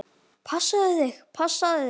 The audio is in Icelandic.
Passaðu þig, passaðu þig!